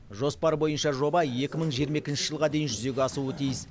жоспар бойынша жоба екі мың жиырма екінші жылға дейін жүзеге асуы тиіс